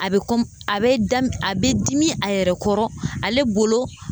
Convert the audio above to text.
A bɛ a bɛ da a bɛ dimi a yɛrɛ kɔrɔ, ale bolo